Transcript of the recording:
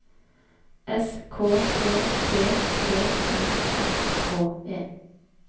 S K E P T I S K E